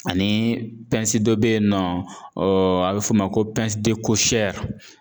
Ani dɔ bɛ yen nɔ a bɛ f'o ma ko